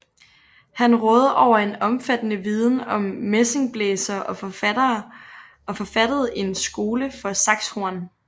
Han rådede over en omfattende viden om messingblæsere og forfattede en skole for saxhorn